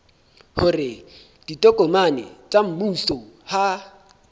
hore ditokomane tsa mmuso ha